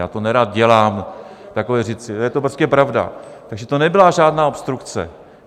Já to nerad dělám, takové věci, je to prostě pravda, takže to nebyla žádná obstrukce.